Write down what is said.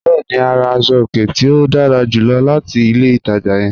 Bẹ̀ẹ̀ni, a rà àṣọ-ọ̀kẹ̀ tí o dára júlọ̀ láti ilẹ̀ ìtaja yẹ̀n.